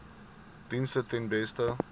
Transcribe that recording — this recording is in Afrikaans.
dienste ten beste